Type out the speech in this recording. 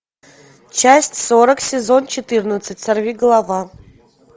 часть сорок сезон четырнадцать сорвиголова